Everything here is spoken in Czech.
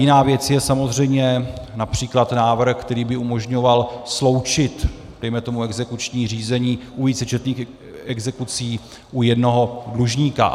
Jiná věc je samozřejmě například návrh, který by umožňoval sloučit dejme tomu exekuční řízení u vícečetných exekucí u jednoho dlužníka.